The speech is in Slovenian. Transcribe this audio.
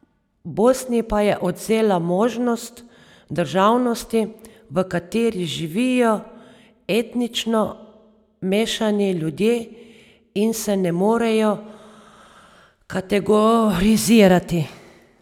Bosni pa je odvzela možnost državnosti, v kateri živijo etnično mešani ljudje in se ne morejo kategorizirati.